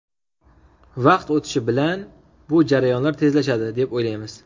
Vaqt o‘tishi bilan bu jarayonlar tezlashadi, deb o‘ylaymiz.